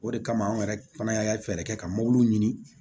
O de kama anw yɛrɛ fana y'a fɛɛrɛ kɛ ka mɔbili ɲini